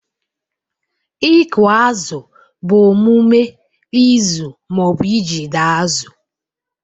Ịkụ azụ bụ omume ịzụ ma ọ bụ ijide azụ.